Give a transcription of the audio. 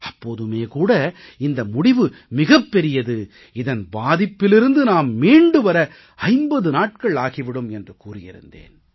அப்போதுமே கூட இந்த முடிவு மிகப் பெரியது இதன் பாதிப்பிலிருந்து நாம் மீண்டு வர 50 நாட்கள் ஆகி விடும் என்று கூறியிருந்தேன்